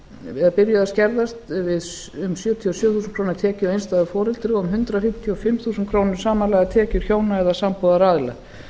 eða byrjuðu að skerðast um sjötíu og sjö þingskjal tekjur hjá einstæðu foreldri og um hundrað fimmtíu og fimm þúsund krónur samanlagðar tekjur hjóna eða sambúðaraðila